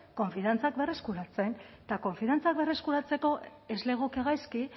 konfiantzak berreskuratzen eta konfiantzak berreskuratzeko ez legoke gaizki